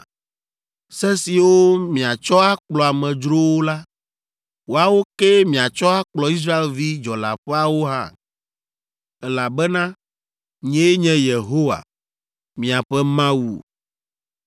Se siwo miatsɔ akplɔ amedzrowo la, woawo kee miatsɔ akplɔ Israelvi dzɔleaƒeawo hã, elabena nyee nye Yehowa, miaƒe Mawu.’ ”